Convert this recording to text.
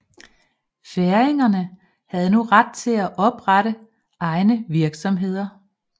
Færingerne havde nu ret til at oprette egne virksomheder